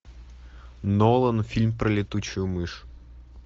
нолан фильм про летучую мышь